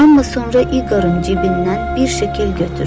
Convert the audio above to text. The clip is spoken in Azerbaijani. Amma sonra İqorun cibindən bir şəkil götürdü.